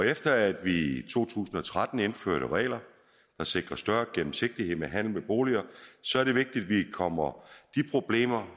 efter at vi i to tusind og tretten indførte regler der sikrer større gennemsigtighed med handel med boliger så er det vigtigt at vi kommer de problemer